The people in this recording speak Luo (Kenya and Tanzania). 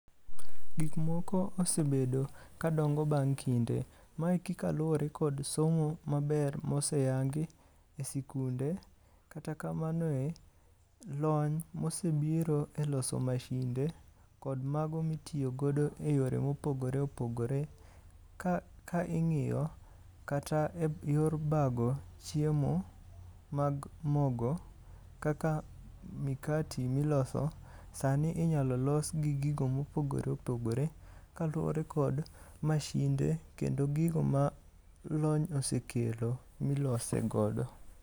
Gik moko osebedo ka dongo bang' kinde . Mae kaluwore kod somo maber moseyangi e sikunde . Kata kamanoe, lony mosebiro e loso masinde kod mago mitiyo godo e yore mopogore pogore. Ka ing'iyo kata e yor bago chiemo mag mogo kaka mikati miloso, sani inyalo los gi gigo mopogore opogore kaluwore kod masinde kendo gigo ma lony osekelo milose godo.